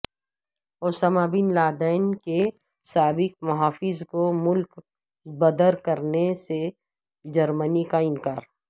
Usama bin Laden کے سابق محافظ کو ملک بدرکرنے سے جرمنی کا انکار